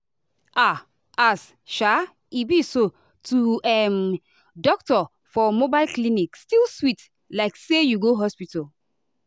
ah as um e be so to um doctor for mobile clinic still sweet like say you go hospital.